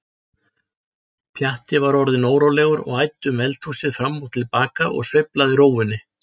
Pjatti var orðinn órólegur og æddi um eldhúsið fram og til baka og sveiflaði rófunni.